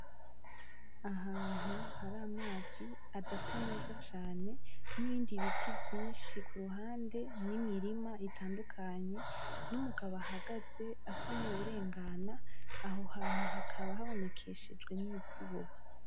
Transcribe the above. Ahantu hari amazi adasa neza cane n'ibindi biti vyinshi kuruhande n'imirima itandukanye n'umugabo ahagaze asa nk'uwurengana aho hantu hakaba habonekeshejwe n'izuba.